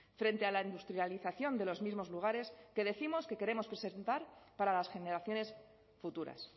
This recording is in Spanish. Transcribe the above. frente a la industrialización de los mismos lugares que décimos que queremos preservar para las generaciones futuras